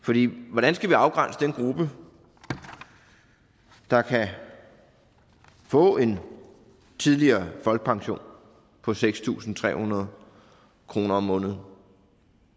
hvordan skal vi afgrænse den gruppe der kan få en tidligere folkepension på seks tusind tre hundrede kroner om måneden